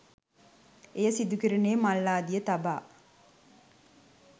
එය සිදුකෙරුණේ මල් ආදිය තබා